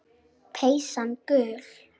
Peysan gul.